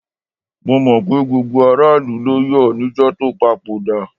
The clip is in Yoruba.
Mo mọ̀ pé gbogbo aráàlú ló yọ̀ níjọ́ tó papòdà.